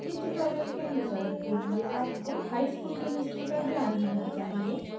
इस tutorial के अनुसरण के लिए आपको high school chemistry का ज्ञान होना चाहिए